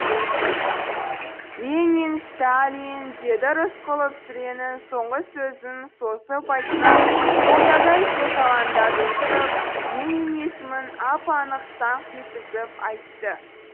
ленин ста ли и ин деді рысқұлов сүренің соңғы сөзін созып айтқан молдадай созалаңдатып тұрып ленин есімін ап анық саңқ еткізіп айтты